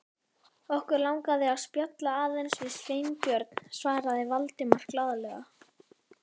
Okkur langaði að spjalla aðeins við Sveinbjörn- svaraði Valdimar glaðlega.